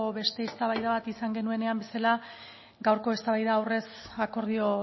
beste eztabaida bat izan genuenean bezala gaurko eztabaida aurrez akordio